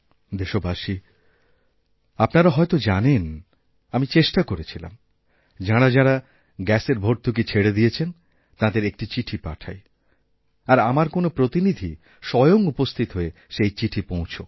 দেশবাসী আপনারাহয়ত জানেন আমি চেষ্টা করেছিলাম যাঁরা যাঁরা গ্যাসের ভর্তুকি ছেড়ে দিয়েছেনতাঁদের একটি চিঠি পাঠাই আর আমার কোনও প্রতিনিধি স্বয়ং উপস্থিত হয়ে সেই চিঠিপৌঁছাক